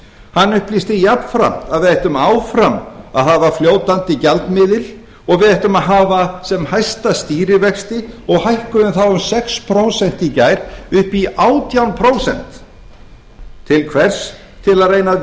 hann upplýsti jafnframt að við ættum áfram að hafa fljótandi gjaldmiðil og við ættum að hafa sem hæsta stýrivexti og hækkuðum þá um sex prósent í gær upp í átján prósent til hvers til að reyna að